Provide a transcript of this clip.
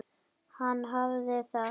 Hann hafði það.